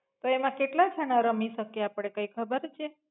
તો એમા કેટલા જણા રમી શકે આપડે કઈ ખબર છે?